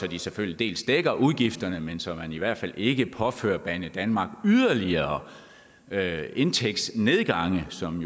at de selvfølgelig dækker udgifterne men så man i hvert fald ikke påfører banedanmark yderligere indtægtsnedgange som